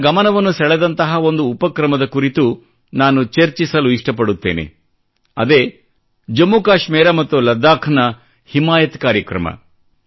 ನನ್ನ ಗಮನವನ್ನು ಸೆಳೆದಂತಹ ಒಂದು ಉಪಕ್ರಮದ ಕುರಿತು ನಾನು ಚರ್ಚಿಸಲು ಇಷ್ಟಪಡುತ್ತೇನೆ ಅದೇ ಜಮ್ಮುಕಾಶ್ಮೀರ ಮತ್ತು ಲದಾಖ್ನ ಹಿಮಾಯತ್ ಕಾರ್ಯಕ್ರ್ರಮ